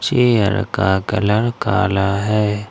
Chair का कलर काला है।